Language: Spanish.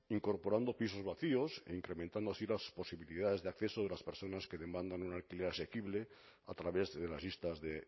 incorporando pisos vacíos e incrementando así las posibilidades de acceso de las personas que demandan un alquiler asequible a través de las listas de